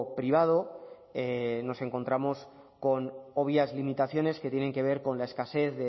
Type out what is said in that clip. privado nos encontramos con obvias limitaciones que tienen que ver con la escasez